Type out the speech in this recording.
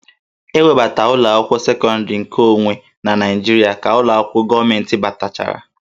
E webata ụlọ akwụkwọ sekọndịrị nke onwe na Naịjirịa ka ụlọ akwụkwọ gọọmentị batachara